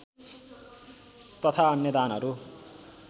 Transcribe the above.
तथा अन्य दानहरू